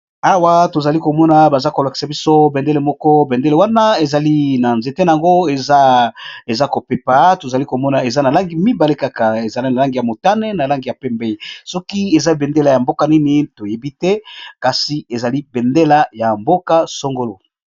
Awa baza kolakisa biso bendele ezali na nzete nango eza kopepa na ba langi mibale langi ya pembe na ya motane soki eza bendele ya mboka nini toyebi te.